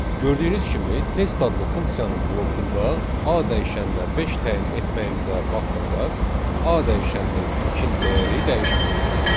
Gördüyünüz kimi, test adlı funksiyanın blokunda A dəyişənə 5 təyin etməyimizə baxmayaraq, A dəyişəninin ilkin dəyəri dəyişmədi.